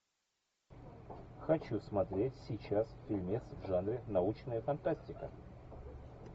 хочу смотреть сейчас фильмец в жанре научная фантастика